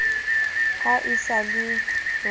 ha e sa le wa